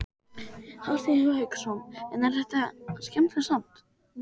Hafsteinn Hauksson: En er þetta skemmtilegt samt?